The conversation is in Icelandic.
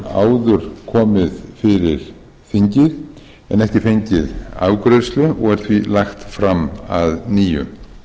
áður komið fyrir þingið en ekki fengið afgreiðslu og er því lagt fram að nýju